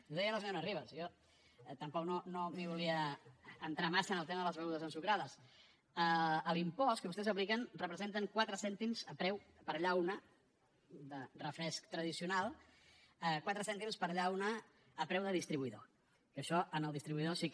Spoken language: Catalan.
ho deia la senyora ribas jo tampoc no volia entrar massa en el tema de les begudes ensucrades l’impost que vostès apliquen representa quatre cèntims per llauna de refresc tradicional quatre cèntims per llauna a preu de distribuïdor que això al distribuïdor sí que